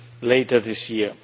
later this year.